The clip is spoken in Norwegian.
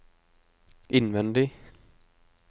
innvendig